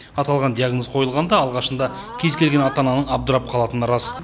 аталған диагноз қойылғанда алғашында кез келген ата ананың абдырап қалатыны рас